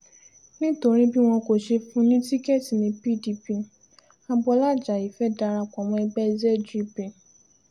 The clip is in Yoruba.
nítorí bí wọn kò ṣe fún un ní tíkẹ́ẹ̀tì ni pdp agboola ajayi fẹ́ẹ́ dara pọ̀ mọ́ ẹgbẹ́ zgp